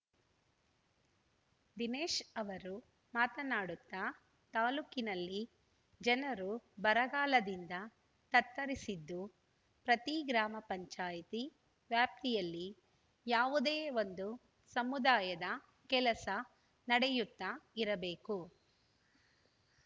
ದಿನೇಶ್ ಅವರು ಮಾತನಾಡುತ್ತಾ ತಾಲೂಕಿನಲ್ಲಿ ಜನರು ಬರಗಾಲದಿಂದ ತತ್ತರಿಸಿದ್ದು ಪ್ರತಿ ಗ್ರಾಮ ಪಂಚಾಯತಿ ವ್ಯಾಪ್ತಿಯಲ್ಲಿ ಯಾವುದೇ ಒಂದು ಸಮುದಾಯದ ಕೆಲಸ ನಡೆಯುತ್ತಾ ಇರಬೇಕು